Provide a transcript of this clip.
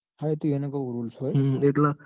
હા એતો એન rules હોય.